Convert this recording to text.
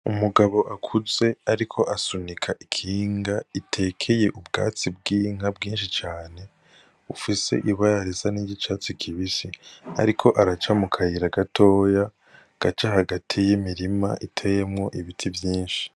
Umugabo akuze ariko asunika ikinga itekeye ubwatsi bw'inka bwinshi cane, bufise ibara risa n'iry'icatsi kibisi. Ariko araca mukayira gatoya, gaca hagati y'imirima iteyemwo ibiti vyinshi.